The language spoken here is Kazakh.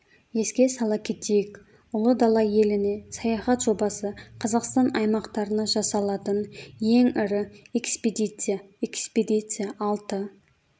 еске сала кетейік ұлы дала еліне саяхат жобасы қазақстан аймақтарына жасалатын ең ірі экспедиция экспедиция алты